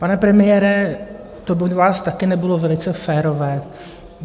Pane premiére, to od vás taky nebylo velice férové.